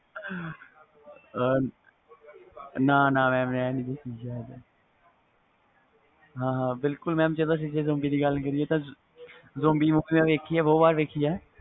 ਨਾ ਨਾ mam ਹਾਂ ਹਾਂ ਬਿਲਕੁਲ mam ਜਦੋ ਅਸੀਂ ਦੀ ਗੱਲ ਕਰੀਏ zombi ਦੀ ਗੱਲ ਕਰੀਏ ਤਾ zombi movie ਬਹੁਤ ਵਾਰ ਦੇਖੀ ਵ